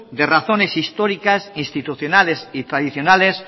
de razones históricas institucionales y tradicionales